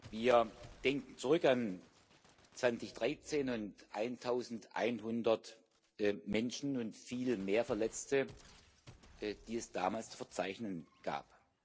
Wir denken zurück an 2013 und 1100 Menschen und viel mehr Verletzte, die es damals zu verzeichnen gab.